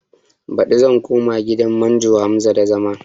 Baɗi zan koma gidan manjo Hamza da zama